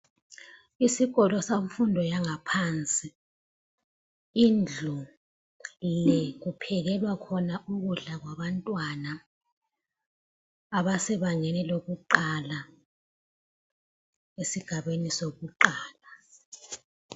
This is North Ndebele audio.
Isikolo semfundo yaphansi. Indlu le kuphekelwa khona ukudla kwabantwana abasebangeni lokuqala, esigabeni sokuqala.